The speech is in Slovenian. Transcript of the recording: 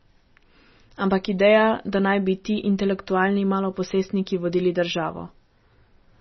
Ampak ideja, da naj bi ti intelektualni maloposestniki vodili državo!